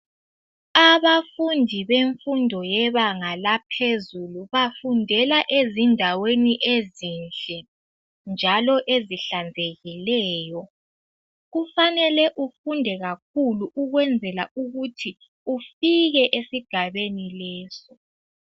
Abafundi bemfundo yebanga laphezulu bafundela ezindaweni ezinhle njalo ezihlanzekileyo. Kufanele ufunde kakhulu ukwenzela ukuthi ufike esigabeni leso.